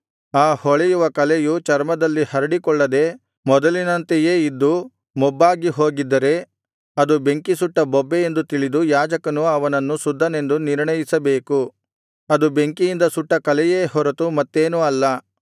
ಆ ಹೊಳೆಯುವ ಕಲೆಯು ಚರ್ಮದಲ್ಲಿ ಹರಡಿಕೊಳ್ಳದೆ ಮೊದಲಿನಂತೆಯೇ ಇದ್ದು ಮೊಬ್ಬಾಗಿಹೋಗಿದ್ದರೆ ಅದು ಬೆಂಕಿಸುಟ್ಟ ಬೊಬ್ಬೆಯೆಂದು ತಿಳಿದು ಯಾಜಕನು ಅವನನ್ನು ಶುದ್ಧನೆಂದು ನಿರ್ಣಯಿಸಬೇಕು ಅದು ಬೆಂಕಿಯಿಂದ ಸುಟ್ಟ ಕಲೆಯೇ ಹೊರತು ಮತ್ತೇನೂ ಅಲ್ಲ